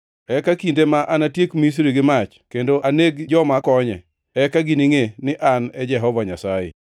Eka kinde ma anatiek Misri gi mach, kendo aneg joma konye, eka giningʼe ni An e Jehova Nyasaye.